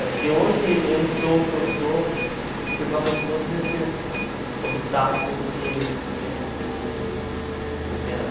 Acho que hoje eu sou o que eu sou por causa de todos esses obstáculos que que eu consegui superar.